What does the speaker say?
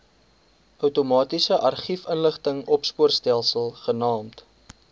outomatiese argiefinligtingsopspoorstelsel genaamd